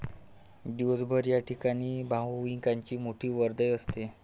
दिवसभर या ठिकाणी भाविकांची मोठी वर्दळ असते.